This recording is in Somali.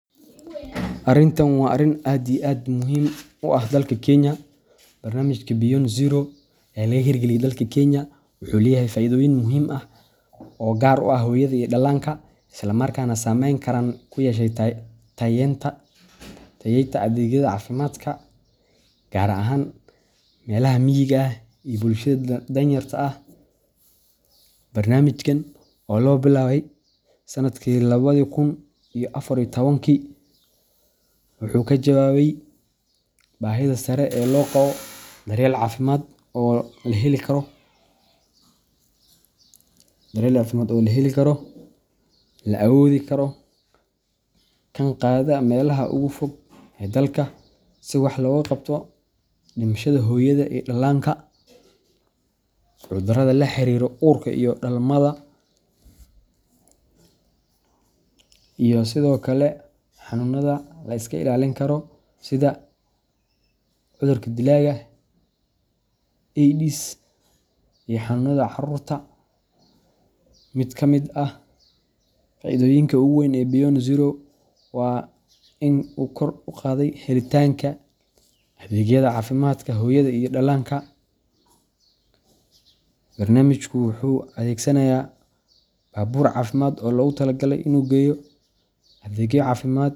Arintan waa arin aad iyo aad muhim u ah dalka Kenya. Barnaamijka Beyond Zero ee laga hirgeliyay dalka Kenya wuxuu leeyahay faa’iidooyin muhiim ah oo gaar u ah hooyada iyo dhallaanka, isla markaana saameyn ballaaran ku yeeshay tayeynta adeegyada caafimaadka, gaar ahaan meelaha miyiga ah iyo bulshada danyarta ah. Barnaamijkan oo la bilaabay sanadkii labadi kun iyo afar iyo tobankii, wuxuu ka jawaabayay baahida sare ee loo qabo daryeel caafimaad oo la heli karo, la awoodi karo, kana gaadha meelaha ugu fog ee dalka, si wax looga qabto dhimashada hooyada iyo dhallaanka, cudurrada la xiriira uurka iyo dhalmada, iyo sidoo kale xanuunada la iska ilaalin karo sida cudurka dilaga Aydiska iyo xanuunada caruurta. Mid ka mid ah faa’iidooyinka ugu waaweyn ee Beyond Zero waa in uu kor u qaaday helitaanka adeegyada caafimaadka hooyada iyo dhallaanka. Barnaamijku wuxuu adeegsanayaa baabuur caafimaad oo loogu tala galay inuu geeyo adeegyo caafimaad.